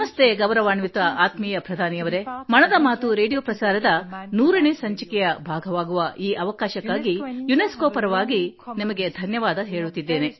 ನಮಸ್ತೆ ಗೌರವಾನ್ವಿತ ಆತ್ಮೀಯ ಪ್ರಧಾನಿಯವರೆ ಮನದ ಮಾತು ರೇಡಿಯೋ ಪ್ರಸಾರದ 100 ನೇ ಸಂಚಿಕೆಯ ಭಾಗವಾಗುವ ಈ ಅವಕಾಶಕ್ಕಾಗಿ ಯುನೆಸ್ಕೋ ಪರವಾಗಿ ನಿಮಗೆ ಧನ್ಯವಾದ ಹೇಳುತ್ತಿದ್ದೇನೆ